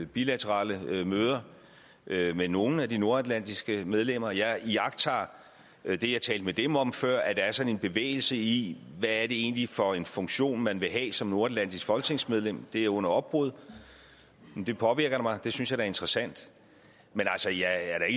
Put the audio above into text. bilaterale møder med med nogle af de nordatlantiske medlemmer jeg iagttager i det jeg talte med dem om før at der er sådan en bevægelse i hvad det egentlig er for en funktion man vil have som nordatlantisk folketingsmedlem det er under opbrud og det påvirker da mig det synes jeg er interessant men altså jeg er